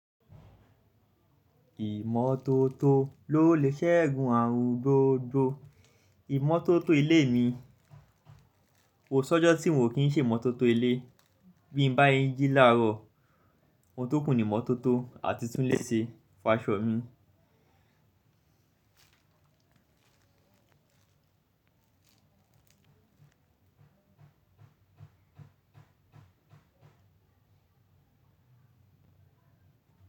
Ìmọ́tótó lolẹ ṣẹgun àrùn gbogbo, ìmọ́tótó ilé mii, kosi ọjọ ti n o ki n se imọtoto ile. Bí n bá yín jí láàárọ̀, ohun tókù ni ìmọ́tótó àti tún lè ṣe, fa'ṣọ̀ mí.